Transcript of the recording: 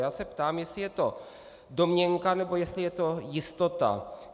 Já se ptám, jestli je to domněnka, nebo jestli je to jistota.